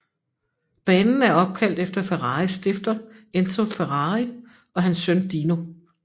Banen er opkaldt efter Ferraris stifter Enzo Ferrari og hans søn Dino